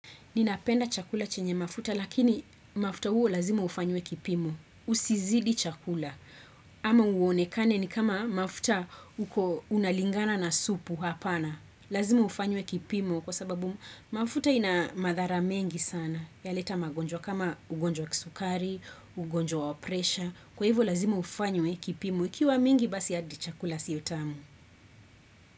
Ninapenda chakula chenye mafuta, lakini mafuta huo lazima ufanywe kipimu. Usizidi chakula. Ama uonekane ni kama mafuta unalingana na supu hapana. Lazima ufanywe kipimu kwa sababu mafuta ina madhara mengi sana. Yaleta magonjwa kama ugonjwa kisukari, ugonjwa wa presha. Kwa hivyo lazima ufanywe kipimo. Ikiwa mingi basi hadi chakula siotamu.